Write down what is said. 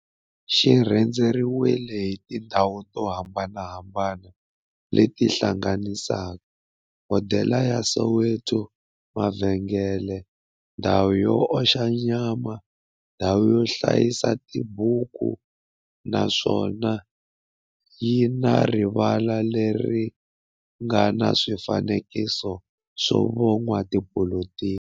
xi rhendzeriwile hi tindhawu to hambanahambana le ti hlanganisaka, hodela ya Soweto, mavhengele, ndhawu yo oxa nyama, ndhawu yo hlayisa tibuku, naswona yi na rivala le ri nga na swifanekiso swa vo n'watipolitiki.